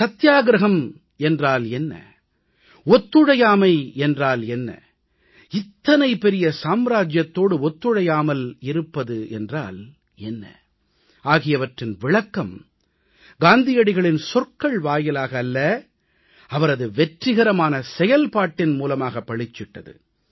சத்தியாகிரஹம் என்றால் என்ன ஒத்துழையாமை என்றால் என்ன இத்தனை பெரிய சாம்ராஜ்யத்தோடு ஒத்துழையாமல் இருப்பது என்றால் என்ன ஆகியவற்றின் விளக்கம் காந்தியடிகளின் சொற்கள் வாயிலாக அல்ல அவரது வெற்றிகரமான செயல்பாட்டின் மூலமாகப் பளிச்சிட்டது